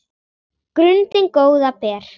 grundin góða ber